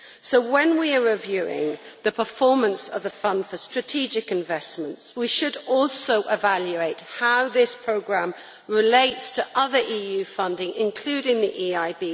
So when we are reviewing the performance of the fund for strategic investments, we should also evaluate how this programme relates to other EU funding, including the EIB.